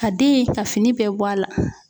Ka den ka fini bɛɛ bɔ a la.